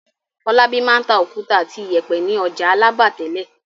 Fọlábí máa ń ta òkúta àti ìyẹ̀pẹ̀ ní ọjà Alábà tẹ́lẹ̀.